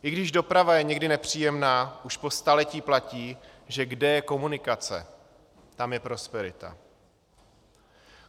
I když doprava je někdy nepříjemná, už po staletí platí, že kde je komunikace, tam je prosperita.